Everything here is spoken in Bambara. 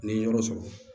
Ni n ye yɔrɔ sɔrɔ